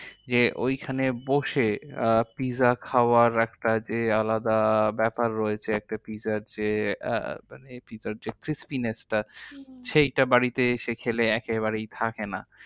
যে ঐখানে বসে আহ pizza খাওয়ার একটা যে আলাদা ব্যাপার রয়েছে, একটা pizza র যে pizza র যে crispness টা সেইটা বাড়িতে এসে খেলে একেবারেই থাকে না।